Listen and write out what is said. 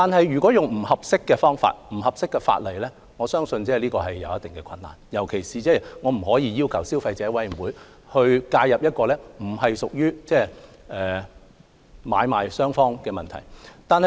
如果以不合適的方法和法例作支援，我相信便難以實行，特別是我們不可能要求消委會介入一個不屬於買賣雙方問題的個案。